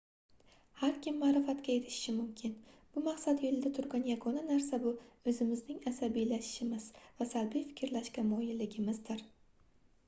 har kim maʼrifatga erishishi mumkin bu maqsad yoʻlida turgan yagona narsa bu oʻzimizning asabiylashishimiz va salbiy firklashga moyilligimizdir